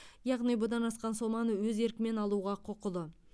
яғни бұдан асқан соманы өз еркімен алуға құқылы